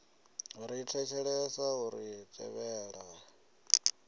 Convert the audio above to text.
ri thetshelesi a ri tevheli